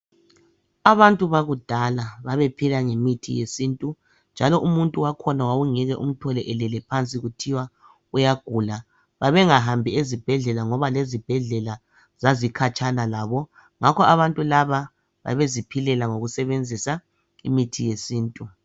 Abantu bakudala babephila ngemithi yesintu njalo umuntu wakhona wawungeke umthole elele phansi kuthiwa uyagula. Babengahambi ezibhedlela ngoba lezibhedlela zazikhatshana labo ngakho abantu laba babeziphilela ngokusebenzisa imithi yesintu